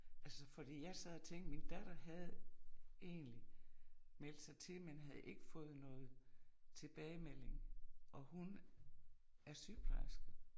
Altså fordi jeg sad og tænkte min datter havde egentlig meldt sig til men havde ikke fået noget tilbagemelding, og hun er sygeplejerske